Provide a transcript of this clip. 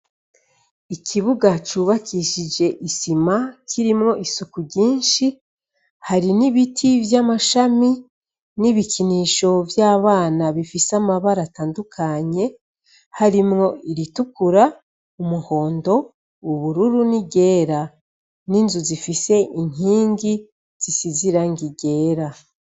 Ikibuga cubakishije isima kirimwo isuku ryinshi, hari n'ibiti vy'amashami, n'ibikinisho vy'abana bifise amabara atandukanye, harimwo iritukura, umuhondo, ubururu, n'iryera, n'inzu zifise irngi zisize irangi ryera.